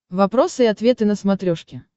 вопросы и ответы на смотрешке